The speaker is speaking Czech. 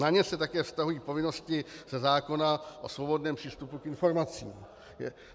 Na ně se také vztahují povinnosti ze zákona o svobodném přístupu k informacím.